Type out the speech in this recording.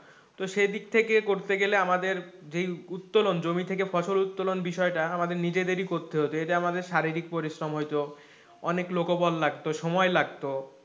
তো সেদিক থেকে করতে গেলে আমাদের যেই উত্তোলন জমি থেকে ফসল উত্তোলন বিষয়টা আমাদের নিজেদের ই করতে হত এটা আমাদের শারীরিক পরিশ্রম হইতো, অনেক লোকবল লাগতো সময় লাগতো,